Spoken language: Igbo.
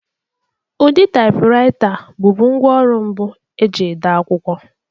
Ụdị taipuraita bụbu ngwá ọrụ mbụ e ji ede akwụkwọ.